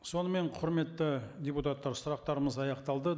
сонымен құрметті депутаттар сұрақтарымыз аяқталды